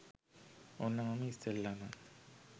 ඔන්න මම ඉස්සෙල්ලම